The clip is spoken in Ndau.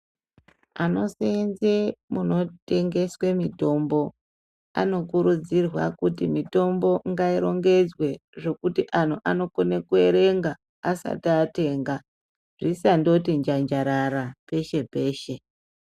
Vanosenza munotengeswa mitombo Anokunokurudzirwa kuti mitombo irongedzwe zvekuti anhu anokona kuerenga asati atenga zvisangoti njanjarara peshe peshe.